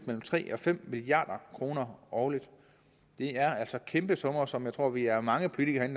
mellem tre og fem milliard kroner årligt det er altså kæmpe summer som jeg tror vi er mange politikere